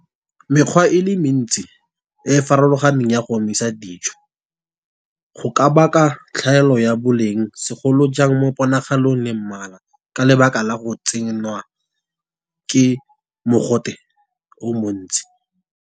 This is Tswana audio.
Mekgwa e le mentsi e e farologaneng ya go omisa dijo, go ka baka tlhaelo ya boleng segolojang mo ponagalo le mmala. Ka lebaka la go tsengwa ke mogote o montsi.